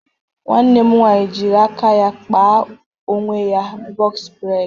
Nwanne m nwaanyị jịrị aka ya kpa onwe ya bọx breds